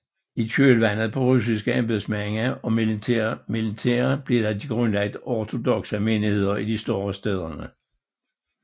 I kølvandet på russiske embedsmænd og militære blev der grundlagt ortodokse menigheder i de større stæder